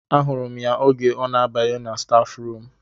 A hụrụ m ya oge ọ na-abanye na stafu rum